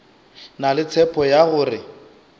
na le tshepo ya gore